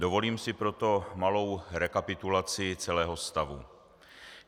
Dovolím si proto malou rekapitulaci celého stavu.